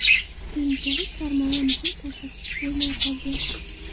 Keyinchalik sarmoya muhim ko‘rsatkich bo‘lmay qolgan.